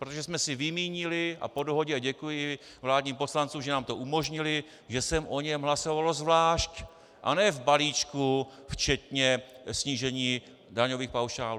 Protože jsme si vymínili a po dohodě, a děkuji vládním poslancům, že nám to umožnili, že se o něm hlasovalo zvlášť, a ne v balíčku včetně snížení daňových paušálů.